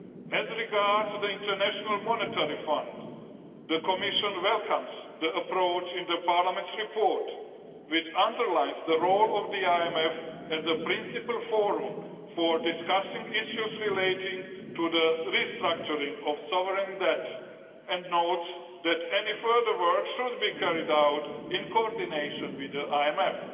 As regards the International Monetary Fund, the Commission welcomes the approach in the Parliament's report, which underlines the role of the IMF as a principal forum for discussing issues relating to the restructuring of sovereign debt, and notes that any further work should be carried out in coordination with the IMF.